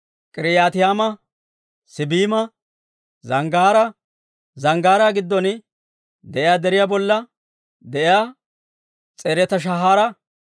K'iriyaataymma, Siibima, zanggaaraa giddon de'iyaa deriyaa bolla de'iyaa S'eereta-Shaahara,